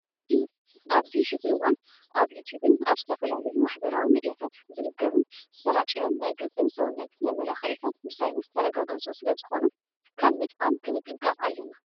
ኣብዚ ሕዚ እዋን ኣብ ዩትብን ኣብ ዝተፈላለዩ ማሕበራዊ ሚዲያታት ዝንገሩን ዝሰራጨዩን ናይ ገፅን ሰውነትን መመላኪዒታት ብሳይንስ ዝተረጋገፁ ስለ ዝኾኑ ካብ ምጥቃም ክንጥንቐቅ ኣለና።